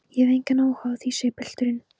Ég hef engan áhuga á því, segir pilturinn.